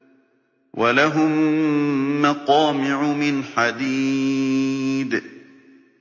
وَلَهُم مَّقَامِعُ مِنْ حَدِيدٍ